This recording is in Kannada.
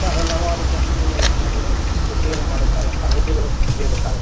ಇಂತಹ ಹಲವಾರು ಕಂಪನಿ ಯಾ ವಾಹನಗಳು ರಿಪೇರಿ ಮಾಡುತ್ತಾರೆ .]